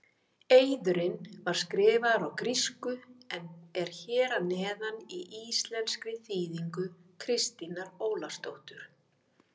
Eiðurinn var skrifaður á grísku en er hér að neðan í íslenskri þýðingu Kristínar Ólafsdóttur.